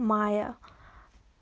майя